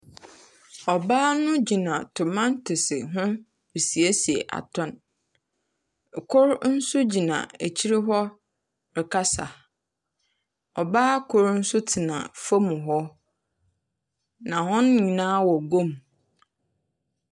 Ɔbaa no gyina tomantos ho resiesie atɔn. Ɛkor nso gyina akyire hɔ rekasa. Ɔbaa koro nso tena fam hɔ na wɔn nyinaa wɔ guam.